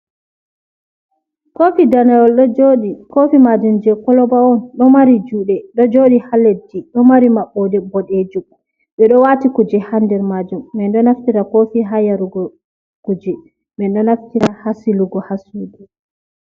Kofi daneyol ɗo joɗi kofi majum je koloba on, ɗo mari juɗe, ɗo joɗi ha leddi, ɗo mari maɓɓode boɗejum, ɓeɗo wati kuje hander majum min ɗo naftira kofi ha yarugo kuje, min ɗo naftira hasilugo hasudu.